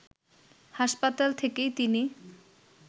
হাসপাতাল থেকেই তিনি